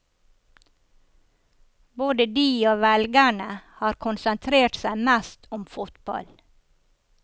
Både de og velgerne har konsentrert seg mest om fotball.